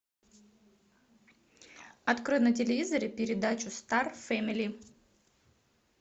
открой на телевизоре передачу стар фэмили